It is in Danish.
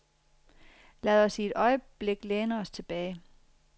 Lad os i et øjeblik læne os tilbage.